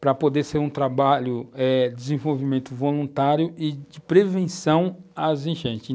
para poder ser um trabalho eh de desenvolvimento voluntário e de prevenção às enchentes.